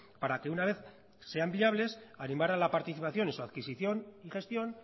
para que una vez sean viables animar a la participación en su adquisición y gestión